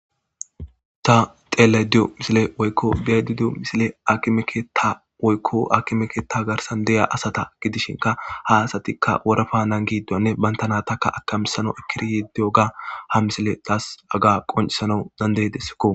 Ta telediyo misile woykko biyadidiyo misile akimekeeta woykko akimekeeta garsan deya asata gidishinka ha asatikka worafa nan giddoanne bantana takka akamisano ekkiri yiddiyo ga ha misile taas aga qoncisanau dandeydessikko.